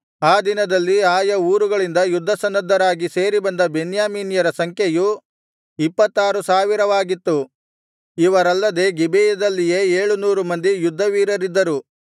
ಆ ದಿನದಲ್ಲಿ ಆಯಾ ಊರುಗಳಿಂದ ಯುದ್ಧಸನ್ನದ್ಧರಾಗಿ ಸೇರಿಬಂದ ಬೆನ್ಯಾಮೀನ್ಯರ ಸಂಖ್ಯೆಯು ಇಪ್ಪತ್ತಾರು ಸಾವಿರವಾಗಿತ್ತು ಇವರಲ್ಲದೆ ಗಿಬೆಯದಲ್ಲಿಯೇ ಏಳು ನೂರು ಮಂದಿ ಯುದ್ಧವೀರರಿದ್ದರು